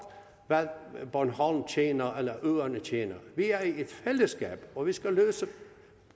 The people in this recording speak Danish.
hvad bornholm tjener eller øerne tjener vi er i et fællesskab og vi skal løse